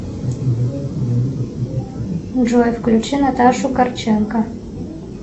джой включи наташу корченко